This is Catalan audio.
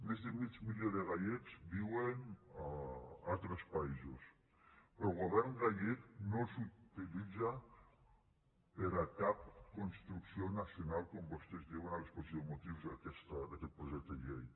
més de mig milió de gallecs viuen a altres països però el govern gallec no els utilitza per a cap construcció nacional com vostès diuen a l’exposició de motius d’aquest projecte de llei